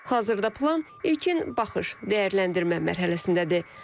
Hazırda plan ilkin baxış, dəyərləndirmə mərhələsindədir.